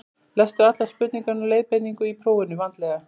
Lestu allar spurningar og leiðbeiningar í prófinu vandlega.